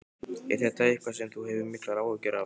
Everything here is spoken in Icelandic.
Er þetta eitthvað sem þú hefur miklar áhyggjur af?